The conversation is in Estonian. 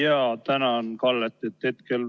Jaa, tänan Kallet!